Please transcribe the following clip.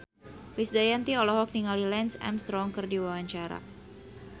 Krisdayanti olohok ningali Lance Armstrong keur diwawancara